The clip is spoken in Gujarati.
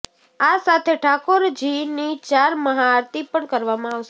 આ સાથે ઠાકોરજીની ચાર મહા આરતી પણ કરવામાં આવશે